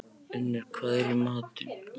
Unnur, hvað er í matinn?